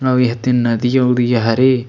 अउ ह तेन नदिया उदिया हरे--